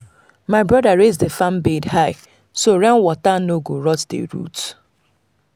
my brother raise the farm bed high so rain water no go rot the root.